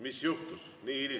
Mis juhtus?